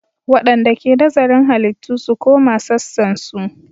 Waɗanda ke nazarin halittu su koma sassansu.